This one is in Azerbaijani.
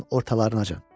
Yanvarın ortalarınacan.